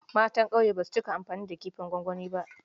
Matan ƙauye ba su cika amfani da kifin gwangwani b